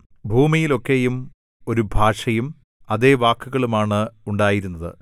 ഭൂമിയിലൊക്കെയും ഒരു ഭാഷയും അതേ വാക്കുകളുമാണ് ഉണ്ടായിരുന്നത്